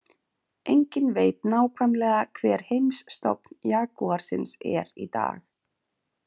Enginn veit nákvæmlega hver heimsstofn jagúarsins er í dag.